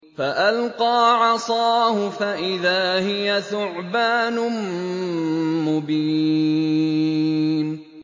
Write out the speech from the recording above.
فَأَلْقَىٰ عَصَاهُ فَإِذَا هِيَ ثُعْبَانٌ مُّبِينٌ